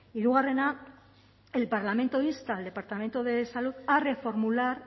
hirugarrena el parlamento insta al departamento de salud a reformular